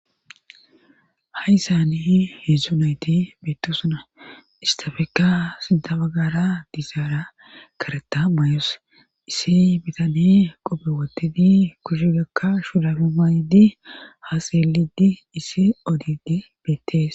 Ha'issani heedzdzu nayti beettosona istafekka sinta bagara dizaara kareta mayos issi bitane qope wotidi kushe gakka shurabe maydi ha xelidi issi odidi beettees